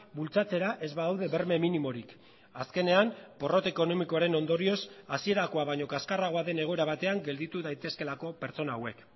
bultzatzera ez badaude berme minimorik azkenean porrot ekonomikoaren ondorioz hasierakoa baino kaskarragoa den egoera batean gelditu daitezkeelako pertsona hauek